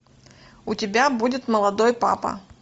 у тебя будет молодой папа